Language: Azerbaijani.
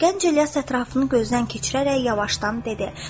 Gənc İlyas ətrafını gözdən keçirərək yavaşdan dedi.